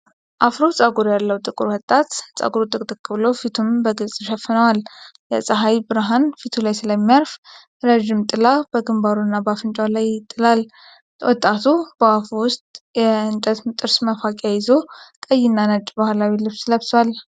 የአፍሮ ፀጉር ያለው ጥቁር ወጣት፣ ፀጉሩ ጥቅጥቅ ብሎ ፊቱን በግልጽ ይሸፍነዋል። የፀሐይ ብርሃን ፊቱ ላይ ስለሚያርፍ፣ ረጅም ጥላ በግንባሩ እና በአፍንጫው ላይ ይጥላል። ወጣቱ በአፉ ውስጥ የእንጨት ጥርስ መፍቂያ ይዞ፣ ቀይና ነጭ ባህላዊ ልብስ ለብሷል።